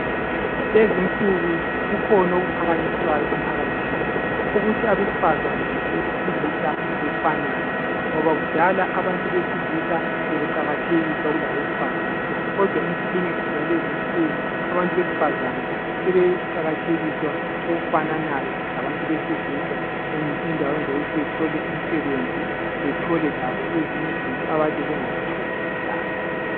Lezinsuku kukhona okuphakanyoswayo emphalathini ukuthi abesifazane labesilisa befanane kudal abantu besilisa bebeqakathekiswa kulabesifazane kodwa lezinsuku abesifazana sebeqakathekiswa okufananayo labantu besilisa endaweni zokuthi bethole imisebenzi bethole labo ezinye izinto akade bengazitholi kudala.